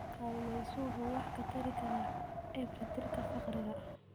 Kalluumaysigu waxa uu wax ka tari karaa ciribtirka faqriga.